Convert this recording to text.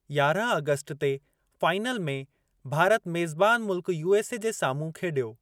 यारहं अगस्ट ते फाइनल में, भारत मेज़बान मुल्क यूएसए जे साम्हूं खेॾियो।